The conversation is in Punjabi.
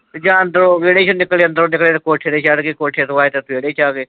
ਜਾਂ ਅੰਦਰੋ ਵਿਹੜੇ ਚੋ ਨਿਕਲੇ, ਅੰਦਰੋ ਨਿਕਲੇ ਤੇ ਕੋਠੇ ਤੇ ਚੜ੍ਹ ਗਏ। ਕੋਠੇ ਤੋਂ ਆਏ ਤੇ ਵਿਹੜੇ ਚੇ ਆ ਗਏ।